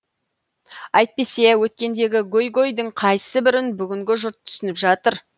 әйтпесе өткендегі гөй гөйдің қайсы бірін бүгінгі жұрт түсініп жатыр